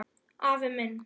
Afi minn.